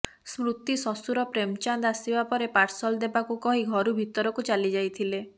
ସ୍ମୃତି ଶ୍ବଶୁର ପ୍ରେମଚାନ୍ଦ ଆସିବା ପରେ ପାର୍ସଲ ଦେବାକୁ କହି ଘରୁ ଭିତରକୁ ଚାଲି ଯାଇଥିଲେ